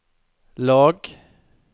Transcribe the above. lag